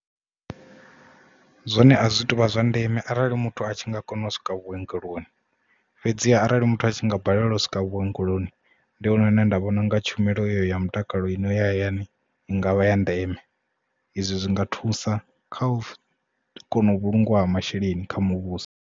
Zwone azwi tuvha zwa ndeme arali muthu a tshi nga kona u swika vhuongeloni fhedziha arali muthu a tshi nga balelwa u swika vhuongeloni ndi hone hune nda vhona unga tshumelo ya mutakalo ine ya hayani i ngavha ya ndeme izwi zwi nga thusa kha u kona u vhulungiwa ha masheleni kha muvhuso.